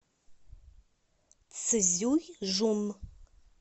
цзюйжун